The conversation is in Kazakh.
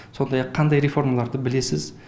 сондай ақ қандай реформаларды білесіз